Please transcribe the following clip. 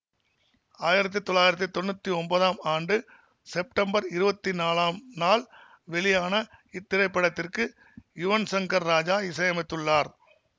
ஆயிரத்தி தொள்ளாயிரத்தி தொன்னூத்தி ஒன்பதாம் ஆண்டு செப்டம்பர் இருபத்தி நாலாம் நாள் வெளியான இத்திரைப்படத்திற்கு யுவன் சங்கர் ராஜா இசையமைத்துள்ளார்